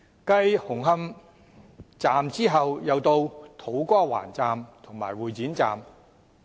繼紅磡站後，土瓜灣站和會展站也出現問題。